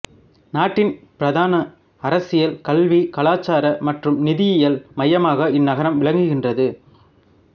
நாட்டின் பிரதான அரசியல் கல்வி கலாச்சார மற்றும் நிதியியல் மையமாக இந்நகரம் விளங்குகின்றது